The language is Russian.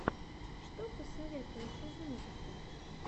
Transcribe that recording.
что посоветуешь из музыки